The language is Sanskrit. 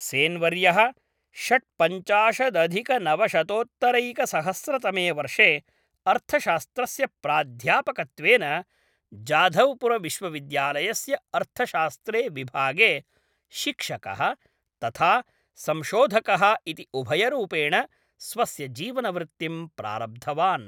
सेन् वर्यः षड्पञ्चाशदधिकनवशतोत्तरैकसहस्रतमे वर्षे अर्थशास्त्रस्य प्राध्यापकत्वेन जाधव्पुरविश्वविद्यालयस्य अर्थशास्त्रे विभागे, शिक्षकः तथा संशोधकः इति उभयरूपेण स्वस्य जीवनवृत्तिं प्रारब्धवान्।